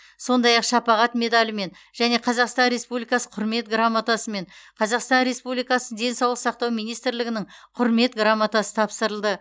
сондай ақ шапағат медалімен және қазақстан республикасы құрмет грамотасымен қазақстан республикасы денсаулық сақтау министрлігінің құрмет грамотасы тапсырылды